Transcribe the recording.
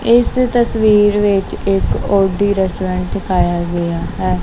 ਇਸ ਤਸਵੀਰ ਵਿੱਚ ਇੱਕ ਓ_ਡੀ ਰੈਸਟੋਰੈਂਟ ਦਿਖਾਇਆ ਗਿਆ ਹੈ।